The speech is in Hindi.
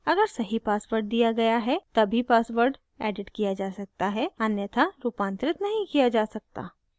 अगर सही password दिया गया है the password एडिट किया जा सकता है अन्यथा रूपांतरित नहीं किया जा सकता